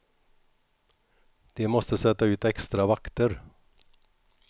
De måste sätta ut extra vakter.